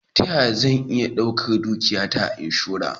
Ta ya zan iya daura dukiyata a inshora?